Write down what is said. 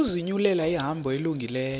ukuzinyulela ihambo elungileyo